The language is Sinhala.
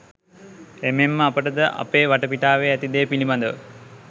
එමෙන්ම අපටද අපේ වටපිටාවේ ඇති දේ පිළිබඳව